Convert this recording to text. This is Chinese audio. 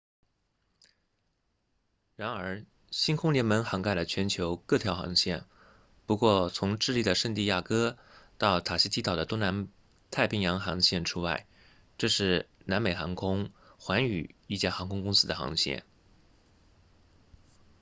然而星空联盟涵盖了全球各条航线不过从智利的圣地亚哥到塔希提岛的东南太平洋航线除外这是南美航空 latam 寰宇一家航空公司的航线